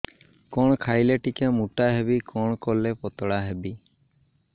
କଣ ଖାଇଲେ ଟିକେ ମୁଟା ହେବି କଣ କଲେ ପତଳା ହେବି